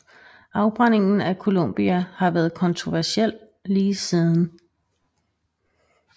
Afbrændingen af Columbia har været kontroversiel lige siden